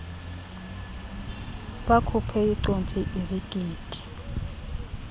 bakhuphela icogsi izigidi